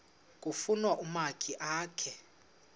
kufuna umakhi akhe